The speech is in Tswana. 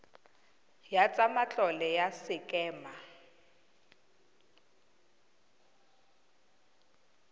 ya tsa matlole ya sekema